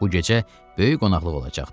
Bu gecə böyük qonaqlıq olacaqdı.